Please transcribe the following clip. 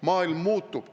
Maailm muutub.